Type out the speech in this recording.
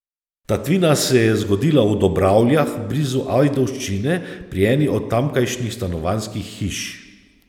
Tatvina se je zgodila v Dobravljah blizu Ajdovščine pri eni od tamkajšnjih stanovanjskih hiš.